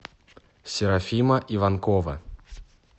серафима иванкова